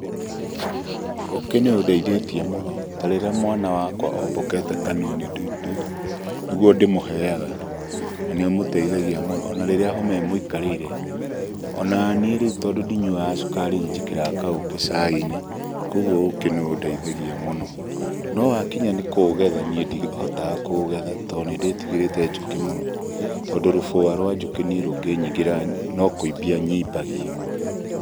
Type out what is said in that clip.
Ũkĩ nĩundeithĩtie mũno ta rĩrĩa mwana wakwa ombokete kanua nĩgwo ndĩmuheyaga na nĩũmũteithagia mũno ona rĩrĩa homa ĩmũikarĩire. Onanĩ to rĩũ ndinyuaga cukari nĩnjĩkĩraga kaũkĩ cai-inĩ kpgũo ũkĩ nĩundeithagia mũno no hakinya nĩkũũgetha nĩĩ ndĩhotaga kũũgetha to nĩndĩtigarĩte njũkĩ mũno, tondũ rũbua rwa njũki nĩĩ rũngĩnyĩngĩra nĩkũimbanyĩmbagia.